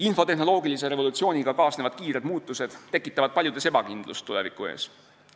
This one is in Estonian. Infotehnoloogilise revolutsiooniga kaasnevad kiired muutused tekitavad paljudes ebakindlust tuleviku ees.